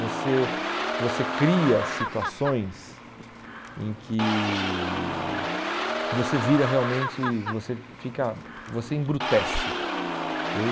Você cria situações em que você vira realmente, você fica você embrutece. Eu